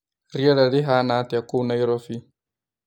Rĩera rĩhana atĩa kũũ Naîrobî?